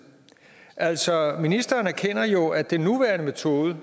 altså ministeren erkender jo at den nuværende metode at